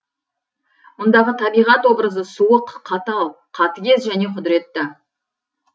мұндағы табиғат образы суық қатал қатыгез және құдыретті